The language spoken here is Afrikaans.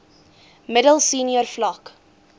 middel senior vlak